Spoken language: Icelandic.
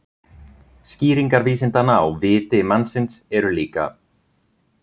skýringar vísindanna á „viti“ mannsins eru líka